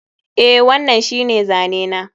Eh, wannan shine zane na